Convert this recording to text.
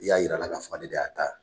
I y'a jira a la k'a fɔ ne de y'a ta